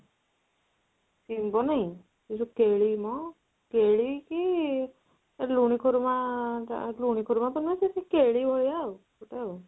ଶିମ୍ବ ନାଇଁ ଏଇ ଯୋଉ କେଳି ମ କେଳି କି ଲୁଣି ଖୁରିମା, ଲୁଣି ଖୁଡ଼ୁମ ତା ନୁହଁ କେଳି ଭଳିଆ ଆଉ